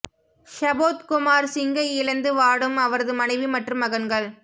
ஷுபோத் குமார் சிங்கை இழந்து வாடும் அவரது மனைவி மற்றும் மகன்கள்